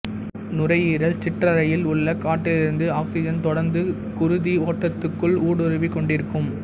நுரையீரல் சிற்றறையில் உள்ள காற்றிலிருந்து ஆக்சிஜன் தொடர்ந்து குருதி ஓட்டத்துக்குள் ஊடுருவிக் கொண்டிருக்கும்